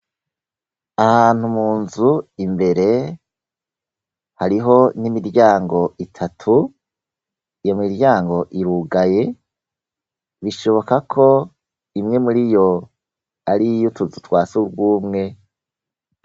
Ahantu munzu imbere, hariho n'imiryango itatu ,iyo miryango irugaye, bishoboka ko imwe muriyo, ariy'utuzu twa sugumwe.